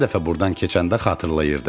Hər dəfə burdan keçəndə xatırlayırdı.